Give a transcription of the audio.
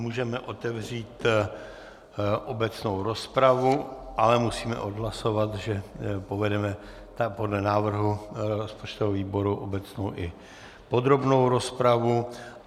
Můžeme otevřít obecnou rozpravu, ale musíme odhlasovat, že povedeme podle návrhu rozpočtového výboru obecnou i podrobnou rozpravu.